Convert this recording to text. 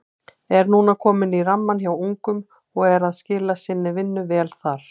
Er núna kominn í rammann hjá ungum og er að skila sinni vinnu vel þar.